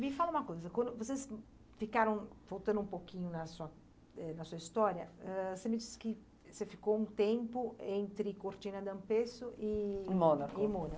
Me fala uma coisa, quando, vocês ficaram, voltando um pouquinho na eh na sua história, você me disse que você ficou um tempo entre Cortina D'Ampezzo e... Mônaco. E